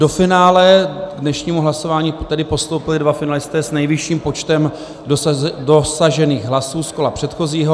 Do finále k dnešnímu hlasování tedy postoupili dva finalisté s nejvyšším počtem dosažených hlasů z kola předchozího.